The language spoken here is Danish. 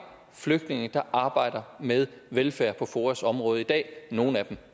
flygtninge der arbejder med velfærd på foas område i dag nogle af dem